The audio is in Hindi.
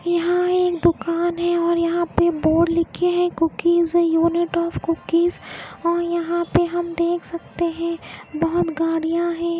यहाँ एक दुकान है और यहाँ पे बोर्ड लिखे है cookies a unit of cookies और यहाँ पे हम देख सकते हैं बहुत गाड़ियाँ है।